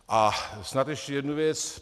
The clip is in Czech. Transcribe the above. A snad ještě jednu věc.